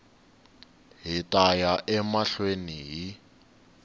hi ta ya emahlweni hi